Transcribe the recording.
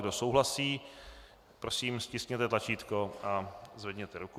Kdo souhlasí, prosím stiskněte tlačítko a zvedněte ruku.